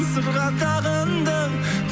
сырға тағындың